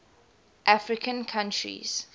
african countries